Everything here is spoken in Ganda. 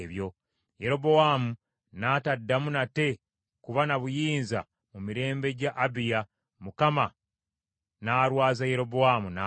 Yerobowaamu n’ataddamu nate kuba na buyinza mu mirembe gya Abiya, Mukama n’alwaza Yerobowaamu n’afa.